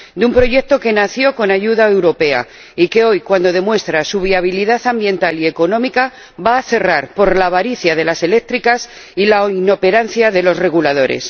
de un proyecto que nació con ayuda europea y que hoy, cuando demuestra su viabilidad ambiental y económica, va a cerrar por la avaricia de las eléctricas y la inoperancia de los reguladores.